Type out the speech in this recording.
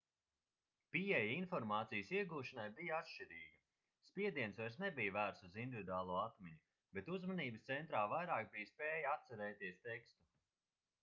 pieeja informācijas iegūšanai bija atšķirīga spiediens vairs nebija vērsts uz individuālo atmiņu bet uzmanības centrā vairāk bija spēja atcerēties tekstu